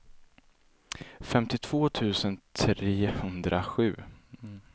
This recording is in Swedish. femtiotvå tusen trehundrasju